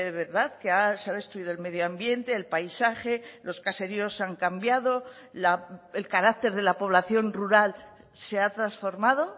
verdad que se ha destruido el medio ambiente el paisaje los caseríos han cambiado el carácter de la población rural se ha transformado